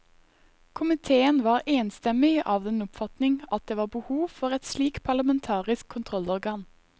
Komiteen var enstemmig av den oppfatning at det var behov for et slikt parlamentarisk kontrollorgan.